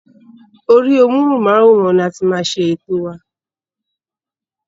Orí móhùnmáwòrán ni a máa ti ṣe ètò wa.